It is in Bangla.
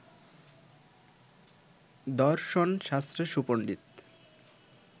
দশর্ন শাস্ত্রে সুপণ্ডিত